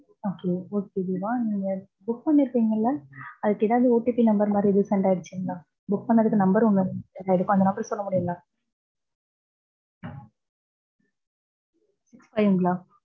okay, okay Deva, நீங்க book பண்ணிருப்பிகள, அதுக்கு எதாவது otpnumber மாரி resend ஆயிடுச்சிங்களா. book பன்னதுக்கு number ஒன்னு send ஆயிருக்கும். அந்த number சொல்ல முடியுங்களா. six five ங்களா.